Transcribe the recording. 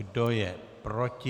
Kdo je proti?